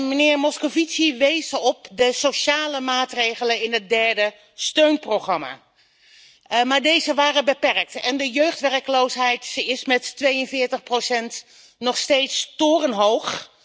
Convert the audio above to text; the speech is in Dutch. Meneer Moscovici wees op de sociale maatregelen in het derde steunprogramma, maar deze waren beperkt en de jeugdwerkloosheid is met 42 nog steeds torenhoog.